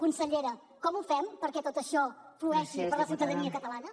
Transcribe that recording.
consellera com ho fem perquè tot això flueixi per a la ciutadania catalana